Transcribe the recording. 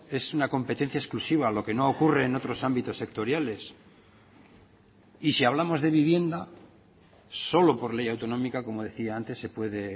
es una competencia exclusiva lo que no ocurre en otros ámbitos sectoriales y si hablamos de vivienda solo por ley autonómica como decía antes se puede